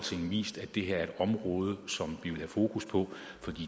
vist at det her er et område som vi vil have fokus på for